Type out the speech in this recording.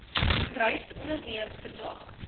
reis onderneem vandag